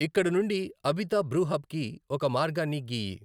ఇక్కడ నుండి అబిత బ్రు హబ్కి ఒక మార్గాన్ని గీయి